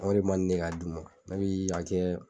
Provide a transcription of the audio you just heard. o de ma ne ye k'a d'u ma n'u i ye a kɛ